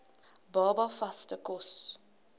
baba vaste kos